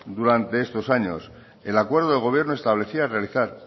durante estos años el acuerdo de gobierno establecía realizar